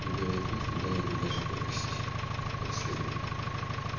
но белый клык не дал ему даже повыть как следует